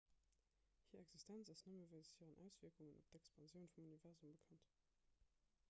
hir existenz ass nëmme wéinst hiren auswierkungen op d'expansioun vum universum bekannt